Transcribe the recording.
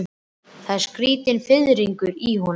Það var skrýtinn fiðringur í honum.